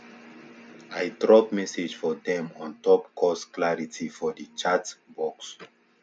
i drop message for dem on top course clarity for the chatbox